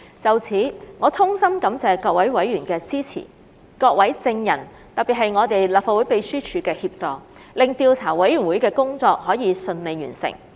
就此，我衷心感謝各位委員的支持，以及各位證人，特別是立法會秘書處的協助，使調查委員會的工作可順利完成。